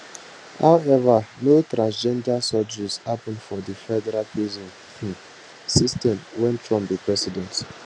however no transgender surgeries happun for di federal prison um system wen trump be president